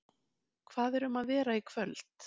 Hvað er um að vera í kvöld?